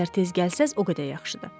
Nə qədər tez gəlsəz, o qədər yaxşıdır.